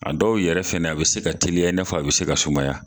A dɔw yɛrɛ fɛnɛ a bi se ka teliya, i n'a fɔ, a bi se ka sumaya.